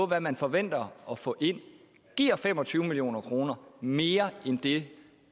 hvad man forventer at få ind giver fem og tyve million kroner mere end det